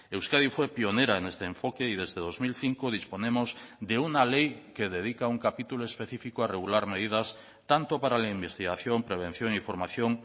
euskadi fue pionera en este enfoque y desde dos mil cinco disponemos de una ley que dedica un capítulo específico a regular medidas tanto para la investigación prevención y formación